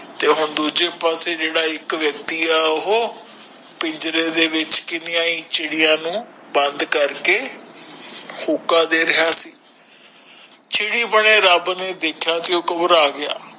ਤੇ ਹੁਣ ਦੂਜੇ ਪਾਸੇ ਜੇੜਾ ਇਕ ਵਕਤੀ ਆ ਉਹ ਪਿੰਜਰੇ ਦੇ ਵਿਚ ਕੀਨੀਆ ਹੀ ਚੜਿਆ ਨੂੰ ਬੰਦ ਕਰਕੇ ਹੂਕਾਂ ਦੇ ਰਿਹਾ ਸੀ ਚਿੜੀ ਬਣੇ ਰਬ ਨੇ ਦੇਖਾ ਤੇ ਓ ਗ਼ਬਰਾਹ ਗਯਾ